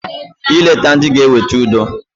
I leta ndị g'eweta udo.